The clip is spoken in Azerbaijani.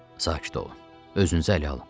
Sakit olun, özünüzü ələ alın.